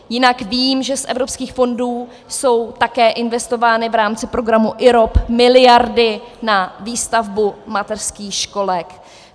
Jinak vím, že z evropských fondů jsou také investovány v rámci programu IROP miliardy na výstavbu mateřských školek.